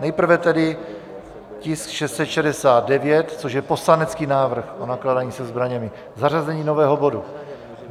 Nejprve tedy tisk 669, což je poslanecký návrh o nakládání se zbraněmi, zařazení nového bodu.